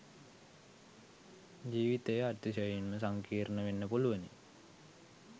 ජීවිතය අතිශයින්ම සංකීර්ණ වෙන්න පුළුවනි.